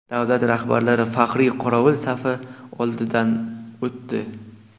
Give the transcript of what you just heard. Davlat rahbarlari faxriy qorovul safi oldidan o‘tdi.